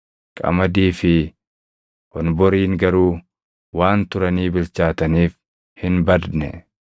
Qamadii fi honboriin garuu waan turanii bilchaataniif hin badne.